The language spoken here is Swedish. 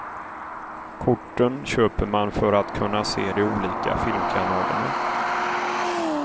Korten köper man för att kunna se de olika filmkanalerna.